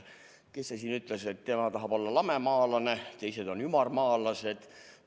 Kes see siin ütles, et tema tahab olla lamemaalane, teised on ümarmaalased.